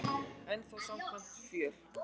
En þó samkvæmt fjöl